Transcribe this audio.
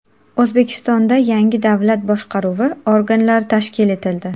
O‘zbekistonda yangi davlat boshqaruvi organlari tashkil etildi.